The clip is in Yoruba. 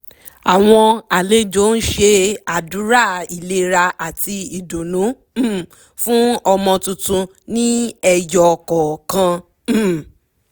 àwọn àlejò ń ṣe àdúrà ìlera àti ìdùnnú um fún ọmọ tuntun ní ẹyọ kọ̀ọ̀kan um